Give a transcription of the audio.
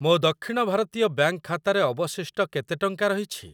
ମୋ ଦକ୍ଷିଣ ଭାରତୀୟ ବ୍ୟାଙ୍କ୍‌ ଖାତାରେ ଅବଶିଷ୍ଟ କେତେ ଟଙ୍କା ରହିଛି?